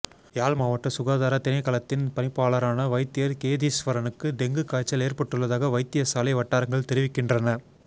யாழ் மாவட்ட சுகாதார திணைக்களத்தின் பணிப்பாளரான வைத்தியர் கேதீஸ்வரனுக்கு டெங்கு காய்ச்சல் ஏற்பட்டுள்ளதாக வைத்தியசாலை வட்டாரங்கள் தெரிவிக்கின்றன